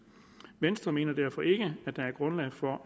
venstre mener derfor ikke at der er grundlag for